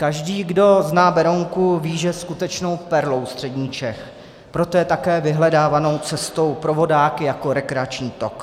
Každý, kdo zná Berounku, ví, že je skutečnou perlou středních Čech, proto je také vyhledávanou cestou pro vodáky jako rekreační tok.